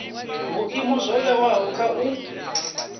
vhuimo zwo vhewaho kha u